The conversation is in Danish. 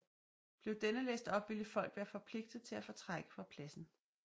Blev denne læst op ville folk være forpligtet til at fortrække fra pladsen